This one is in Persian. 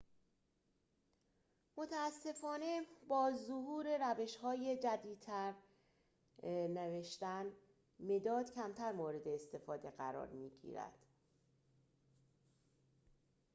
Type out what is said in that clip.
متأسفانه با ظهور روش‌های جدیدتر نوشتن مداد کمتر مورد استفاده قرار می‌گیرد